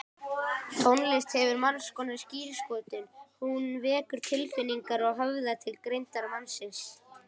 Tónlist hefur margskonar skírskotun, hún vekur tilfinningar og höfðar til greindar mannsins.